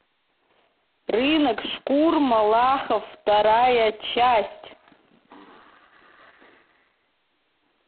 рынок шкур малахов вторая часть